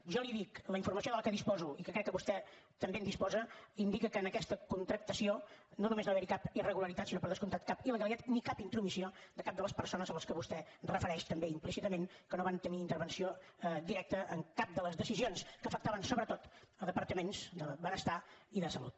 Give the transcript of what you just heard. jo li dic la informació de què disposo i que crec que vostè també en disposa indica que en aquesta contractació no només no va haverhi cap irregularitat sinó per descomptat cap il·legalitat ni cap intromissió de cap de les persones que vostè refereix també implícitament que no van tenir intervenció directa en cap de les decisions que afectaven sobretot els departaments de benestar i de salut